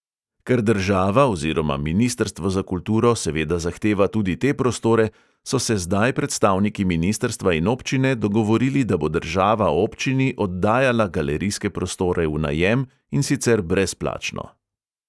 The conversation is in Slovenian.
Ker država oziroma ministrstvo za kulturo seveda zahteva tudi te prostore, so se zdaj predstavniki ministrstva in občine dogovorili, da bo država občini oddajala galerijske prostore v najem, in sicer brezplačno.